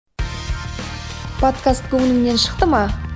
подкаст көңіліңнен шықты ма